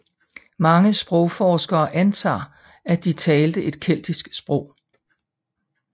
Mange sprogforskere antager at de talte et keltisk sprog